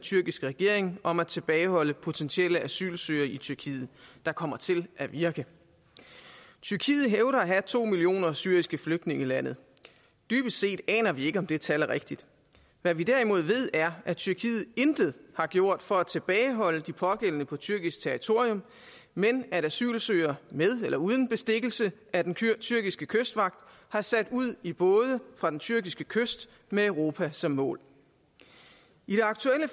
tyrkiske regering om at tilbageholde potentielle asylansøgere i tyrkiet der kommer til at virke tyrkiet hævder at have to millioner syriske flygtninge i landet dybest set aner vi ikke om det tal er rigtigt hvad vi derimod ved er at tyrkiet intet har gjort for at tilbageholde de pågældende på tyrkisk territorium men at asylansøgere med eller uden bestikkelse af den tyrkiske kystvagt har sat ud i både fra den tyrkiske kyst med europa som mål i det aktuelle